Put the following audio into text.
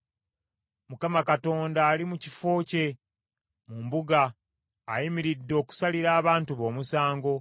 Mukama Katonda ali mu kifo kye mu mbuga, ayimiridde okusalira abantu be omusango.